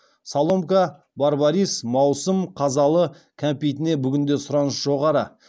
соломка барбарис маусым қазалы кәмпитіне бүгінде сұраныс жоғары